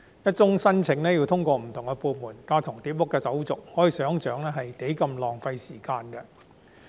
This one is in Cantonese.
一宗申請要通過不同部門、完成架床疊屋的手續，相當浪費時間。